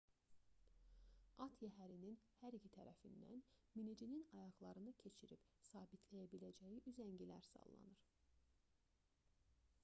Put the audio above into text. at yəhərinin hər iki tərəfindən minicinin ayaqlarını keçirib sabitləyə biləcəyi üzəngilər sallanır